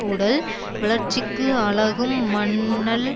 உடல் வளர்ச்சிக்கு அழகும் மண்ணல்